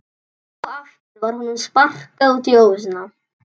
Enn og aftur var honum sparkað út í óvissuna.